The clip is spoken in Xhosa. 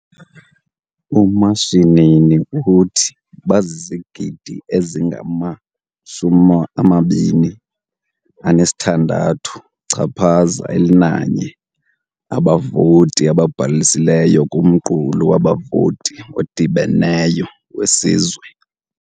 UMashinini uthi bazizigidi ezingama-26.1 abavoti ababhalisileyo kumqulu wabavoti odibeneyo wesizwe.